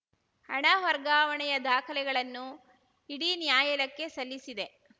ಹಣ ವರ್ಗಾವಣೆಯ ದಾಖಲೆಗಳನ್ನು ಇಡಿ ನ್ಯಾಯಾಲಯಕ್ಕೆ ಸಲ್ಲಿಸಿದೆ